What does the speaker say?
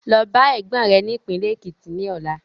Lọ bá Ẹ̀gbọ́n rẹ ni ìpínlẹ́ Ekiti ni ọ̀la.